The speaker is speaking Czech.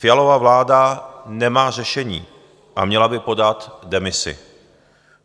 Fialova vláda nemá řešení a měla by podat demisi.